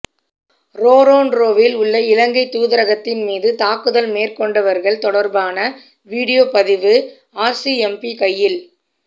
ரோறொன்ரோவில் உள்ள இலங்கைத் தூதரகத்தின் மீது தாக்குதல் மேற்கொண்டவர்கள் தொடர்பான வீடியோ பதிவு ஆர்சிஎம்பி கையில்